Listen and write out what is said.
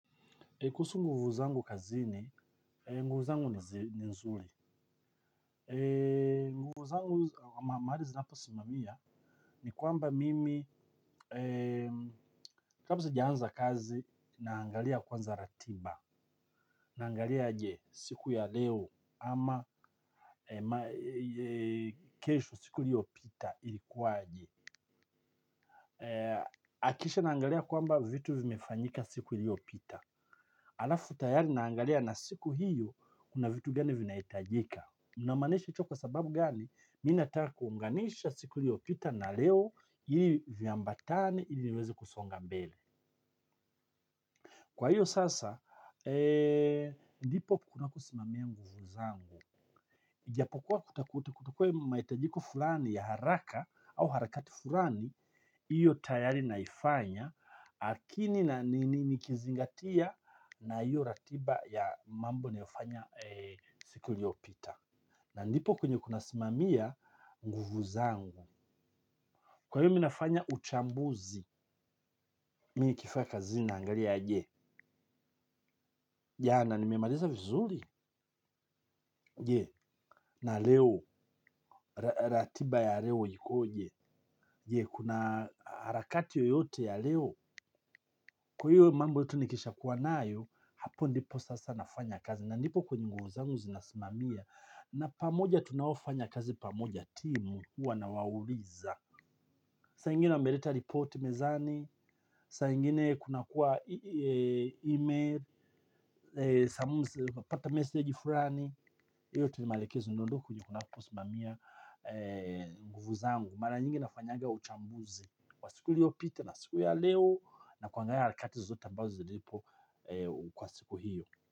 Kuhusu nguvu zangu kazini, nguvu zangu ni nzuri. Nguvu zangu mahali zinaposimamia ni kwamba mimi, kabla sijaanza kazi naangalia kwanza ratiba. Naangalia aje siku ya leo ama kesho siku iliyopita ilikuwa aje. Kisha naangalia kwamba vitu vimefanyika siku iliyopita. Alafu tayari naangalia na siku hiyo kuna vitu gani vinahitajika namaanisha hicho sababu gani mimi nataka kuunganisha siku iliyopita na leo hili viambatane hili niweze kusonga mbele. Kwa hiyo sasa ndipo kuna kusimamia nguvu zangu ijapokua kutakua mahitajiko fulani ya haraka au harakati fulani hiyo tayari naifanya akini na nikizingatia na hiyo ratiba ya mambo ninayofanya siku iliyopita. Na ndipo kwenye kunasimamia nguvu zangu. Kwa hiyo mimi nafanya uchambuzi. Mimi nikifika kazini naangalia aje. Ya na nimemaliza vizuri. Je na leo ratiba ya leo ikoje. Je kuna harakati yoyote ya leo. Kwa hiyo mambo yote nikisha kuwa nayo. Hapo ndipo sasa nafanya kazi. Na ndipo kwenye nguvu zangu zinasimamia. Na pamoja tunaofanya kazi pamoja timu huwa nawauliza. Saa ingine wameleta ripoti mezani. Saa ingine kunakuwa email. Pata meseji fulani hiyo tu maelekezo ndio tu kwenye kunaposimamia nguvu zangu. Mara nyingi nafanyanga uchambuzi. Kwa siku iliyopita na siku ya leo. Na kuangalia harakati zote ambazo zilipo. Kwa siku hiyo.